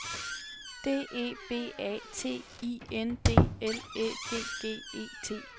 D E B A T I N D L Æ G G E T